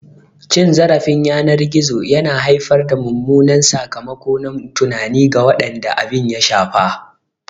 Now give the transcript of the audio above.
Cin zarafin yanar gizo yana haifar da mummunan sakamako na tunani ga waɗanda abin ya shafa.